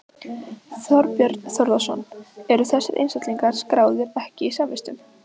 Þorbjörn Þórðarson: Eru þessir einstaklingar skráðir ekki í samvistum?